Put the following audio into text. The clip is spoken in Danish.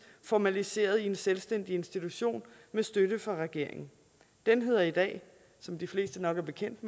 formaliseret i en selvstændig institution med støtte fra regeringen den hedder i dag som de fleste nok er bekendt